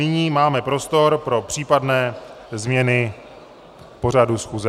Nyní máme prostor pro případné změny pořadu schůze.